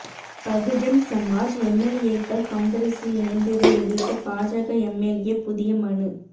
பகுஜன் சமாஜ் எம்எல்ஏக்கள் காங்கிரஸில் இணைந்ததை எதிா்த்து பாஜக எம்எல்ஏ புதிய மனு